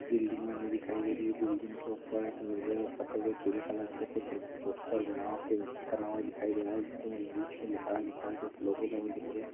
building बनी दिखाई दे रही है बिल्डिंग के ऊपर एक नीले सफ़ेद और पीले कुछ पोस्टर बना हुआ पेंटिंग करा हुआ दिखाई दे रहा है जिसके अंदर इंग्लिश में लिखा हुआ दिख रहा है कुछ लोगो बने दिख रहे --